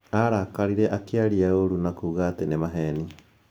Arakarire, akĩaria ũũru na kuuga atĩ ni mabeni